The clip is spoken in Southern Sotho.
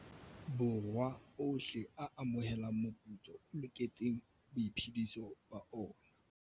Borwa ohle a amohelang moputso o loketseng boiphediso ba ona.